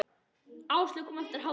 Áslaug kom eftir hádegi.